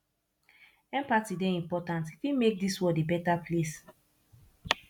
empathy dey important e fit make dis world a beta place